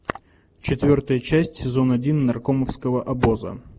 четвертая часть сезон один наркомовского обоза